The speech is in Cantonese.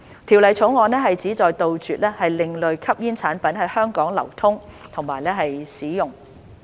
《條例草案》旨在杜絕另類吸煙產品在香港的流通和使用。